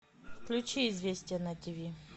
включи известия на тиви